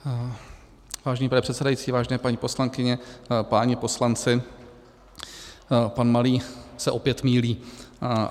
Vážený pane předsedající, vážené paní poslankyně, páni poslanci, pan Malý se opět mýlí.